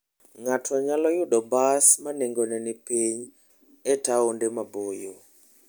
Ng'ato nyalo yudo bas ma nengone ni piny e taonde maboyo.